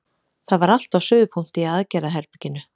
Það var allt á suðupunkti í aðgerðaherberginu.